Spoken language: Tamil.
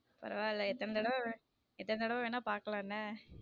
பரவால எத்தனை தடவ எத்தனை தடவ வேன்ன பாக்கலாம் என்ன.